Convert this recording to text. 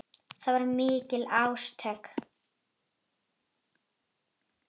Það voru mikil átök.